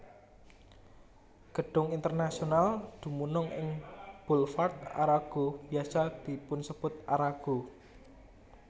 Gedung Internasional dumunung ing Boulevard Arago biasa dipunsebut Arago